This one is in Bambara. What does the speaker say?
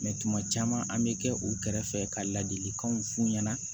tuma caman an bɛ kɛ u kɛrɛfɛ ka ladilikanw f'u ɲɛna